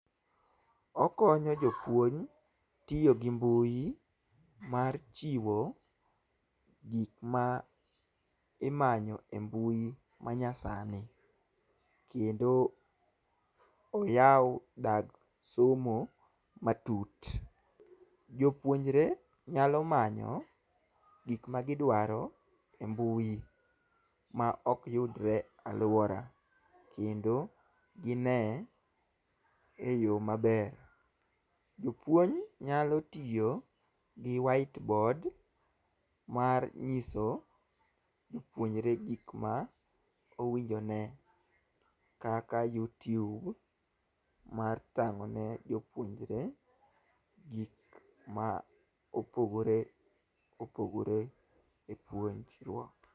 Okonyo jopuonj tiyo gi mbui mar chiwo gik ma imanyo e mbui manyasani. Kendo oyawo dag somo matut. Jopuonjre nyalo manyo gik magidwaro e mbui, ma ok yudre alwora, kendo gine e yo maber. Jopuonj nyalo tiyo gi white board, mar nyiso jopuonjre gik ma owinjo one, kaka youtube mar thang'o ne jopuonjre, gik ma opogore opogore e puonjruok.